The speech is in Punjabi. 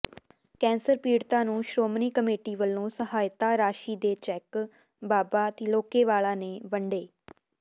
ਕੈਂਸਰ ਪੀੜਤਾਂ ਨੂੰ ਸ਼੍ਰੋਮਣੀ ਕਮੇਟੀ ਵਲੋਂ ਸਹਾਇਤਾ ਰਾਸ਼ੀ ਦੇ ਚੈੱਕ ਬਾਬਾ ਤਿ੍ਲੋਕੇਵਾਲਾ ਨੇ ਵੰਡੇ